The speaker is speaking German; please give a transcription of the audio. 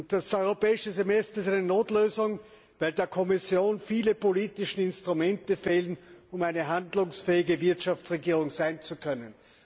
Das Europäische Semester ist eine Notlösung, weil der Kommission viele politische Instrumente fehlen, um eine handlungsfähige Wirtschaftsregierung sein zu können.